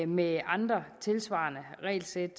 med andre tilsvarende regelsæt